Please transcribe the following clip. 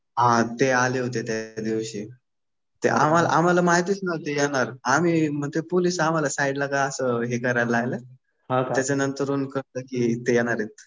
हा ते आले होते त्या दिवशी. ते आम्हाला माहितीच नव्हतं येणार. आम्ही मग ते पोलीस आम्हाला साईडला असं हे करायला लागले. त्याच्यानंतर मग कळलं कि ते येणार आहेत.